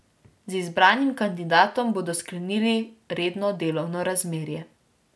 Z izbranim kandidatom bodo sklenili redno delovno razmerje.